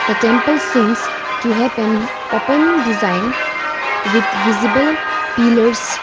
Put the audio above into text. the temple seems to happen open design with visible pillars.